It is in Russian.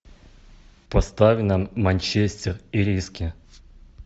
поставь нам манчестер ириски